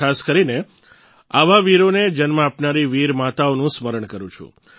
અને ખાસ કરીને આવા વીરોને જન્મ આપનારી વીર માતાઓનું સ્મરણ કરું છું